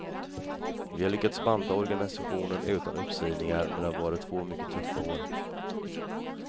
Vi har lyckats banta organisationen utan uppsägningar men det har varit två mycket tuffa år.